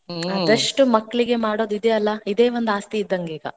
ಹ್ಮ್ ಆದಷ್ಟು ಮಕ್ಕಳಿಗೆ ಮಾಡೋದಿದೆ ಅಲ್ಲಾ ಇದೇ ಒಂದ್ ಆಸ್ತಿ ಇದ್ದಂಗೀಗ.